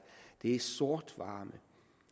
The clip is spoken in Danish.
er sort varme